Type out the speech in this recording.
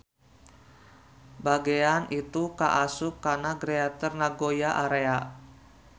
Bagean itu kaasup kana Greater Nagoya Area.